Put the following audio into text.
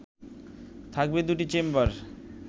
থাকবে দুটি চেম্বার